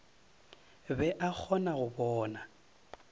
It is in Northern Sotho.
be a kgona go bona